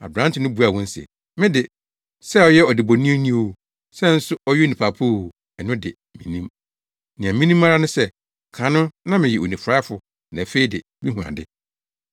Aberante no buaa wɔn se, “Me de, sɛ ɔyɛ ɔdebɔneyɛni o, sɛ nso ɔyɛ onipa pa o, ɛno de, minnim. Nea minim ara ne sɛ kan no na meyɛ onifuraefo na afei de mihu ade.”